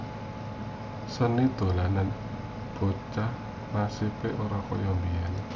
Seni dolanan bocah nasibe ora kaya biyen